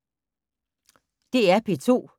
DR P2